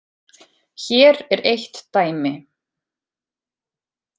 Hér er eitt dæmi.